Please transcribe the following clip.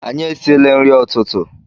Anyi esile nri ututu